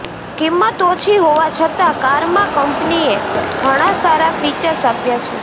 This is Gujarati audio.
કિંમત ઓછી હોવા છતાં કારમાં કંપનીએ ઘણા સારા ફીચર્સ આપ્યા છે